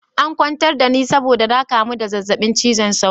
An kwantar da ni saboda na kamu da zazzabin cizon sauro.